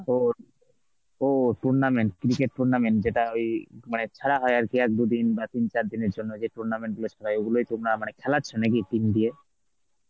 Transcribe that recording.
ওহ, ওহ tournament, cricket tournament যেটা ওই মানে ছাড়া হয় আর কি এক দুদিন বা তিন চার দিনের জন্য যে tournament গুলো ওগুলোই তোমরা মানে খেলাচ্ছো নাকি team দিয়ে?